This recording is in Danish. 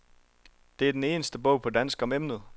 Det er den eneste bog på dansk om emnet.